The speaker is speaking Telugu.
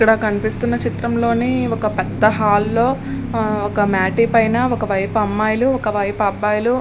ఇక్కడ కనిపిస్తున్న చిత్రంలోని ఒక పెద్ద హాల్లో ఒక మాటీ పైన ఒక వైపు అమ్మాయిలు ఒకవైపు అబ్బాయిలు --